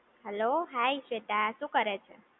hello hi Sweta શું કરે છે